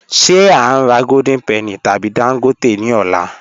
Ṣe a n rà Golden Penny tabi Dangote ni ọ̀lá?